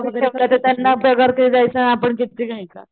त्यांना पगार किती देयचा आणि आपण किती घेयचा